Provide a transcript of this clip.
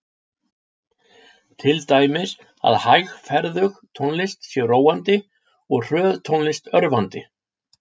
Til dæmis að hægferðug tónlist sé róandi og hröð tónlist örvandi.